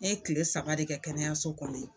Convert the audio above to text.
Ne ye kile saba de kɛ kɛnɛyaso kɔnɔ yan.